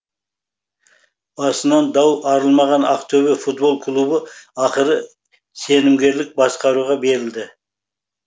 басынан дау арылмаған ақтөбе футбол клубы ақыры сенімгерлік басқаруға берілді